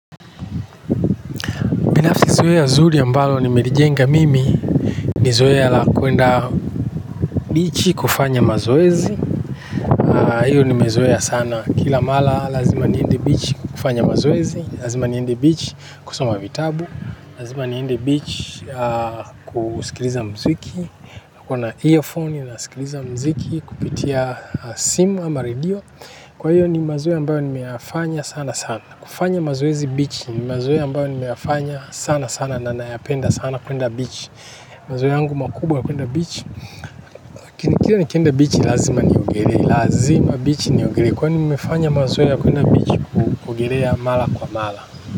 Binafsi zoea zuri ambalo nimelijenga mimi. Ni zoea la kuenda bichi kufanya mazoezi. Hiyo nimezoea sana. Kila mara lazima niende bichi kufanya mazoezi. Lazima niende bichi kusoma vitabu. Lazima niende bichi kusikiliza mziki. Kuna earphone na sikiliza mziki. Kupitia simu ama radio. Kwa hiyo ni mazoea ambayo nimeyafanya sana sana. Kufanya mazoezi bichi ni mazoea ambayo nimeyafanya sana sana. Na nayapenda sana kuenda bichi mazoea yangu makubwa ya kuenda bichi. Nikiwa nikienda bichi lazima niogelee kwani nimefanya mazoea ya kuenda bichi mara kwa mara.